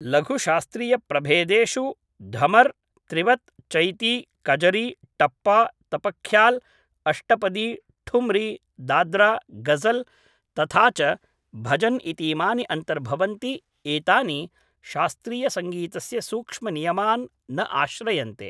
लघुशास्त्रीयप्रभेदेषु धमर् त्रिवत् चैती कजरी टप्पा तपख्याल् अष्टपदी ठुम्री दाद्रा गज़ल् तथा च भजन् इतीमानि अन्तर्भवन्ति एतानि शास्त्रीयसङ्गीतस्य सूक्ष्मनियमान् न आश्रयन्ते